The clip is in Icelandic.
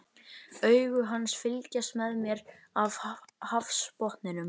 Augu hans fylgjast með mér af hafsbotninum.